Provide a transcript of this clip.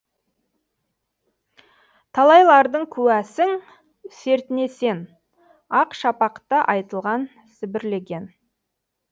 талайлардың куәсің сертіне сен ақ шапақта айтылған сібірлеген